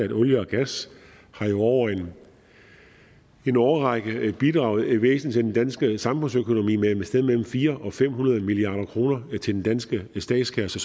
at olie og gas jo over en årrække har bidraget væsentligt til den danske samfundsøkonomi med et sted mellem fire hundrede og fem hundrede milliard kroner til den danske statskasse